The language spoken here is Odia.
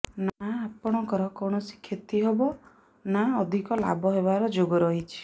ନା ଆପଣଙ୍କର କୌଣସି କ୍ଷତି ହେବ ନା ଅଧିକ ଲାଭ ହେବାର ଯୋଗ ରହିଛି